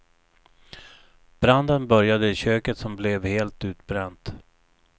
Branden började i köket som blev helt utbränt.